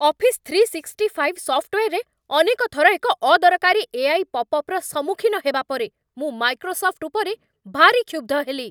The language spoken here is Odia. ଅଫିସ୍ ଥ୍ରୀ ସିକ୍ସଟି ଫାଇଭ୍ ସଫ୍ଟୱେର୍‌ରେ ଅନେକ ଥର ଏକ ଅଦରକାରୀ ଏଆଇ ପପ୍ଅପ୍‌ର ସମ୍ମୁଖୀନ ହେବା ପରେ ମୁଁ ମାଇକ୍ରୋସଫ୍ଟ୍ ଉପରେ ଭାରି କ୍ଷୁବ୍ଧ ହେଲି।